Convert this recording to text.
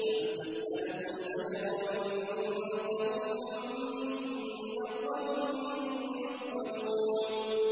أَمْ تَسْأَلُهُمْ أَجْرًا فَهُم مِّن مَّغْرَمٍ مُّثْقَلُونَ